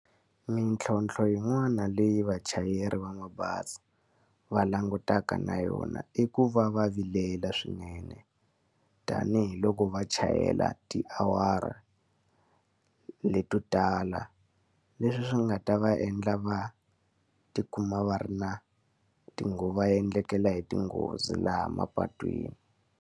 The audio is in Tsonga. Mintlhontlho yin'wana leyi vachayeri va mabazi va langutaka na yona i ku va va vilela swinene. Tanihi loko va chayela tiawara leto tala. Leswi swi nga ta va endla va ti kuma va ri na va endlekela hi tinghozi laha mapatwini.